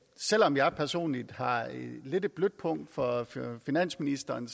selv om jeg personligt har lidt et blødt punkt for finansministeren